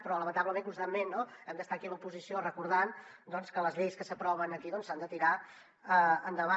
però lamentablement constantment no hem d’estar aquí l’oposició recordant doncs que les lleis que s’aproven aquí s’han de tirar endavant